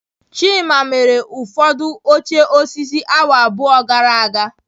Chima mere ụfọdụ oche osisi awa abụọ gara aga